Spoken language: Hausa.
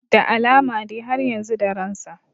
Da alama dai har yanzu da ransa